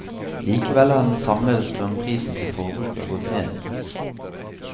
Likevel har den samlede strømprisen til forbruker gått ned.